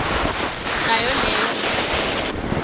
nayo leyo mali